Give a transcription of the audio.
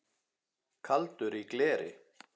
Kaldur í gleri